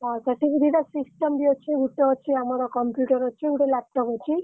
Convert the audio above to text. ହଁ ସେଠିବି ଦିଟା system ବି ଅଛି ଗୋଟେ ଅଛି ଆମର computer ଅଛି ଗୋଟେ laptop ଅଛି।